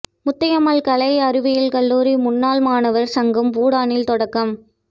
முத்தாயம்மாள் கலை அறிவியல் கல்லூரி முன்னாள் மாணவா் சங்கம் பூடானில் தொடக்கம்